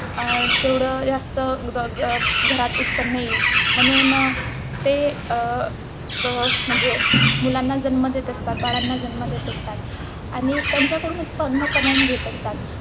अं तेवढं जास्त घ घ घरात उत्त्पन्न येईल म्हणून ते अं म्हणजे मुलांना जन्म देत असतात, बाळांना जन्म देत असतात आणि त्यांच्याकडून उत्त्पन्न कमवून घेत असतात.